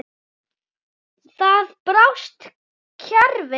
Þar brást kerfið.